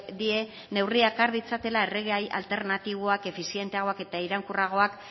die neurriak har ditzatela erregai alternatiboak efizienteagoak eta iraunkorragoak